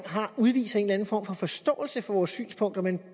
udviser en eller anden form for forståelse for vores synspunkt men